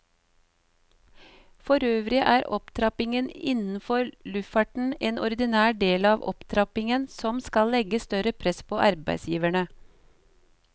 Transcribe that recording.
Forøvrig er opptrappingen innenfor luftfarten en ordinær del av opptrappingen som skal legge større press på arbeidsgiverne.